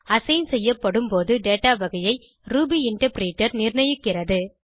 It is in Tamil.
அசைன் செய்யப்படும் போது டேட்டா வகையை ரூபி இன்டர்பிரிட்டர் நிர்ணயிக்கிறது